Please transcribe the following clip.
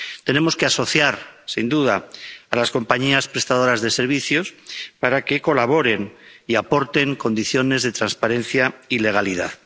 Tenemos que asociar, sin duda, a las compañías prestadoras de servicios para que colaboren y aporten condiciones de transparencia y legalidad.